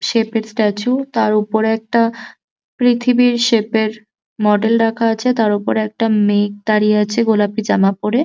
Shape এর statue তার উপরে একটা পৃথিবীর শেপ এর মডেল রাখা আছে তার উপর একটা মেগ দাঁড়িয়ে আছে গোলাপি জামা পরে।